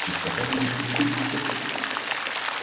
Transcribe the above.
чистота будет как в третьяковке